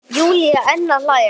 Júlía enn að hlæja.